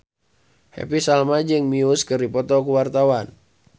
Happy Salma jeung Muse keur dipoto ku wartawan